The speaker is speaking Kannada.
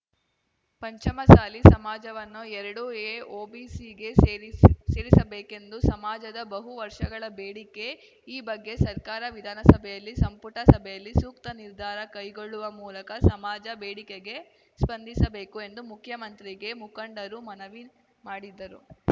ಪಂಚಮಸಾಲಿ ಸಮಾಜವನ್ನು ಎರಡು ಎಓಬಿಸಿಗೆ ಸೇರಿಸ್ ಸೇರಿಸ ಬೇಕೆಂದು ಸಮಾಜದ ಬಹು ವರ್ಷಗಳ ಬೇಡಿಕೆ ಈ ಬಗ್ಗೆ ಸರ್ಕಾರ ವಿಧಾನಸಭೆಯಲ್ಲಿ ಸಂಪುಟ ಸಭೆಯಲ್ಲಿ ಸೂಕ್ತ ನಿರ್ಧಾರ ಕೈಗೊಳ್ಳುವ ಮೂಲಕ ಸಮಾಜ ಬೇಡಿಕೆಗೆ ಸ್ಪಂದಿಸಬೇಕು ಎಂದು ಮುಖ್ಯಮಂತ್ರಿಗೆ ಮುಖಂಡರು ಮನವಿ ಮಾಡಿದ್ದರು